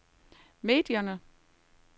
medierne